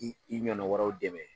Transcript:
K' i ɲɔɔna wɛrɛ dɛmɛ